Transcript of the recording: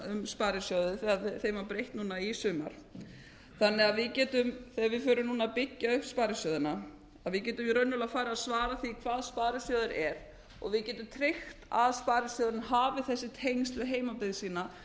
sparisjóði þegar þeim var breytt núna í sumar þannig að við getum þegar við förum að byggja upp sparisjóðina að við getum raunverulega farið að svara því hvað sparisjóður er og við getum tryggt að sparisjóðurinn hafi þessi tengsl við heimabyggð sína